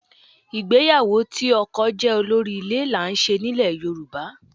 Ìgbéyàwó tí ọkọ jẹ́ olórí ilé là ń ṣe nílẹ̀ Yorùbá